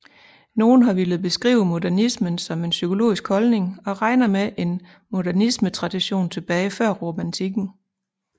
Nogle har villet beskrive modernismen som en psykologisk holdning og regner med en modernismetradition tilbage til før romantikken